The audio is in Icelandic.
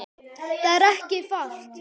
Það er ekki falt